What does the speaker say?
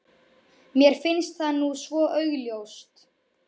Mér finnst það nú svo augljóst.